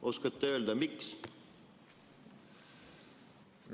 Oskate öelda, miks?